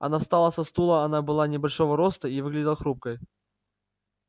она встала со стула она была небольшого роста и выглядела хрупкой